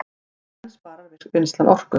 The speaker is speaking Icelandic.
En sparar vinnslan orku